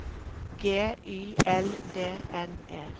G Y L D N E